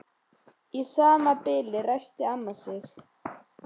Í sama bili ræskti amma sig.